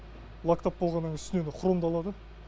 лактап болғаннан үстінен хромдалады